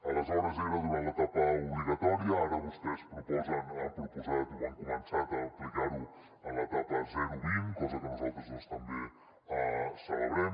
aleshores era durant l’etapa obligatòria ara vostès han proposat o han començat a aplicar ho a l’etapa zero vint cosa que nosaltres doncs també celebrem